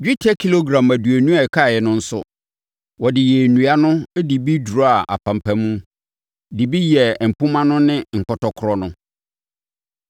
Dwetɛ kilogram aduonu a ɛkaeɛ no nso, wɔde yɛɛ nnua no de bi duraa apampam, de bi yɛɛ mpomma no ne nkɔtɔkorɔ no.